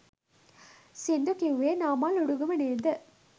සිංදු කිව්වේ නාමල් උඩුගම නේද?